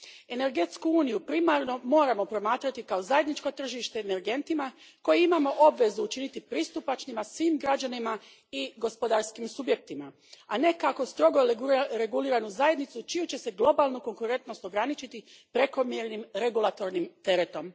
Energetsku uniju primarno moramo promatrati kao zajedničko tržište energentima koje imamo obvezu učiniti pristupačnima svim građanima i gospodarskim subjektima, a ne kao strogo reguliranu zajednicu čiju će se globalnu konkurentnost ograničiti prekomjernim regulatornim teretom.